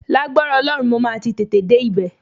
Lágbára Ọlọ́run, mo máa ti tètè dé ibẹ̀